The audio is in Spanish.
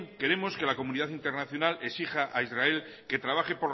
queremos que la comunidad internacional exija a israel que trabaje